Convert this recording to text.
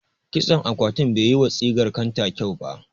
Kitson akwatin bai yi wa sigar kanta kyau ba.